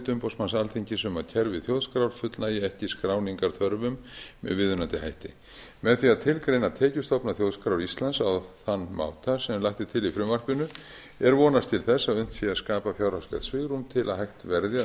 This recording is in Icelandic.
umboðsmanns alþingis um að kerfi þjóðskrár fullnægi ekki skráningarþörfum með viðunandi hætti með því að tilgreina tekjustofna þjóðskrár íslands á þann máta sem lagt er til í frumvarpinu er vonast til þess að unnt sé að skapa fjárhagslegt svigrúm til að hægt verði